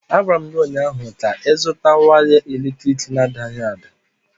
Agwara m gị ụnyaahụ ka ịzụtara waya eletrik na-adaghị ada!